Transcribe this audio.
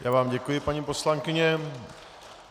Já vám děkuji, paní poslankyně.